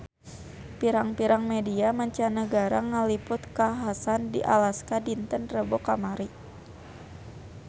Pirang-pirang media mancanagara ngaliput kakhasan di Alaska dinten Rebo kamari